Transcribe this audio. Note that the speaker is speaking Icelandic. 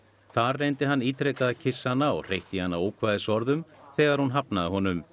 þar reyndi hann ítrekað að kyssa hana og hreytti í hana ókvæðisorðum þegar hún hafnaði honum